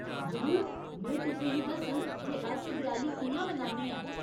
जरूर, में तुसें गी दस्सङ जे अस देआली कि'यां मनान्ने आं।